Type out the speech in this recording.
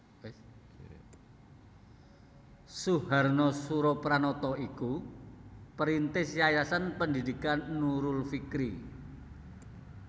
Suharna Surapranata iku perintis Yayasan Pendidikan Nurul Fikri